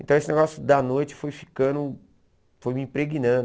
Então esse negócio da noite foi ficando, foi me impregnando.